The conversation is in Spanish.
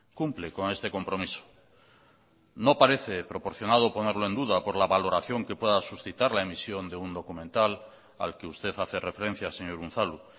cumple con este compromiso no parece proporcionado ponerlo en duda por la valoración que pueda suscitar la emisión de un documental al que usted hace referencia señor unzalu